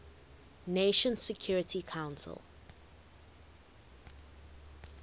nations security council